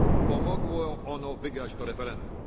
Pomogło ono wygrać to referendum.